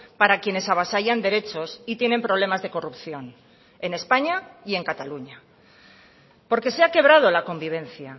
para quienes avasallan derechos y tienen problemas de corrupción en españa y en cataluña porque se ha quebrado la convivencia